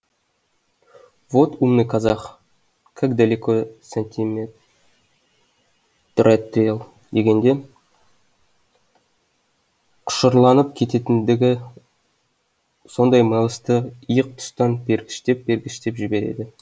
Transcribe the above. вот умный казах как далеко сантиметротрел дегенде құшырланып кететіндігі сондай мэлсті иық тұстан пергіштеп пергіштеп жібереді